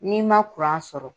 N'i man sɔrɔ.